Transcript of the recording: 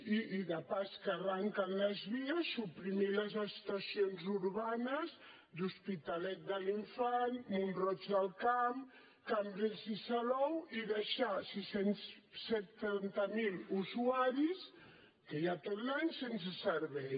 i de pas que arrenquen les vies suprimir les estacions urbanes d’hospitalet de l’infant mont roig del camp cambrils i salou i deixar setanta mil usuaris que hi ha tot l’any sense servei